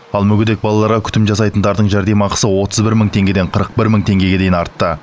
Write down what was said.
ал мүгедек балаларға күтім жасайтындардың жәрдемақысы отыз бір мың теңгеден қырық бір мың теңгеге дейін артты